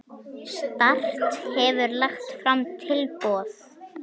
Start hefur lagt fram tilboð.